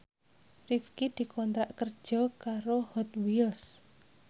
Rifqi dikontrak kerja karo Hot Wheels